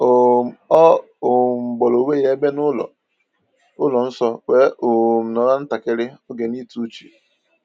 um O um gbara onwe ya ebe n’ụlọ ụlọ nsọ, wee um nọrọ ntakịrị oge n’ịtụ uche.